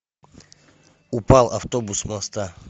упал автобус с моста